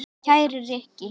Kæri Rikki.